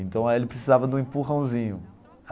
Então ele precisava de um empurrãozinho.